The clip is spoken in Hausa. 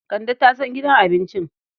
Kande ta san gidan abincin.